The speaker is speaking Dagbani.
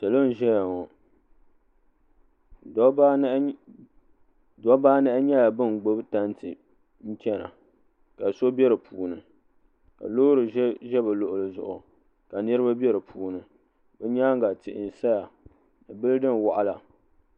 Salo n ʒɛya ŋɔ dɔbba anahi dɔbba anahi nyɛla ban gbubi tanti n chana ka so be di puuni ka loori ʒɛ bɛ luɣuli zuɣu ka niriba be di puuni bɛ nyaanga tihi n saya ni bildin wɔɣila